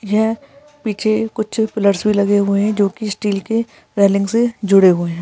यह पीछे कुछ पिलर्स भी लगे हुए है जो कि स्टील के रेलिंग से जुड़े हुए है।